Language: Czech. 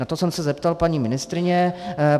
Na to jsem se zeptal paní ministryně.